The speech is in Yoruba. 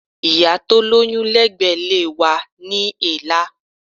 Ìyá tó lóyún lẹ́gbẹ̀ẹ́ ilé wa ní èélá.